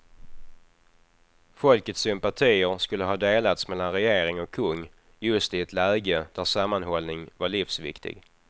Folkets sympatier skulle ha delats mellan regering och kung just i ett läge där sammanhållning var livsviktig.